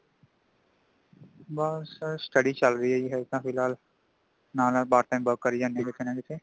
ਬੱਸ STUDY ਚਲ ਰਹੀ ਹੇ ਹਾਲੇ ਤੇ ਫਿਲਹਾਲ ,ਨਾਲ ਨਾਲ Part time work ਕਰੇ ਜਾਂਦੇ ਹਾ ਕਿਥੇ ਨਾਂ ਕਿਥੇ